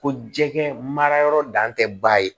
Ko jɛgɛ mara yɔrɔ dan tɛ ba ye